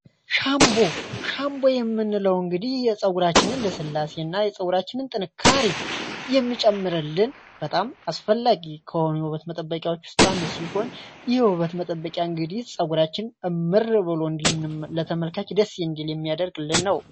ሻንቦ ሻንቦ የምንለው እንግዲህ የጸውራችንን ለስላሴ እና የጸውራችንን ጥንካሪ የሚጨምርልን በጣም አስፈላጊ ከሆሚ በበት መጠበቂያዎች ውስጣአንዱ ሲሆን ይህ ውበት መጠበቂያ እንግዲህ ጸጉራችን እምር ብሎ እንዲታይ ለተመልካች ደስ የእንዲል የሚያደርግልን ነው።